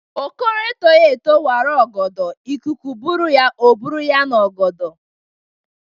Okoro etoghi eto wara ọgọdọ ikuku bụrụ ya, ọ bụrụ ya na-ogodo.